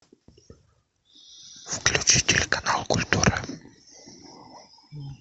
включи телеканал культура